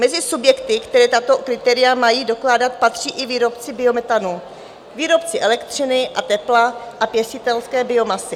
Mezi subjekty, které tato kritéria mají dokládat, patří i výrobci biometanu, výrobci elektřiny a tepla a pěstitelské biomasy.